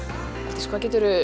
Aldís hvað geturðu